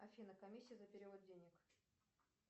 афина комиссия за перевод денег